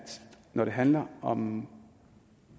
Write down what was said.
når det handler om